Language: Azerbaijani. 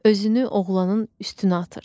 Özünü oğlanın üstünə atır.